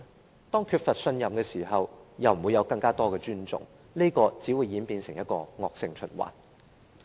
當政府缺乏市民信任的時候，便不會獲得更多的尊重，這樣只會演變成一個惡性循環。